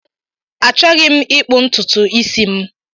Achọghị m ịkpụ ntutu isi m.